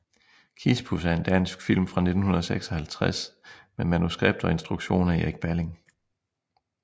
Kispus er en dansk film fra 1956 med manuskript og instruktion af Erik Balling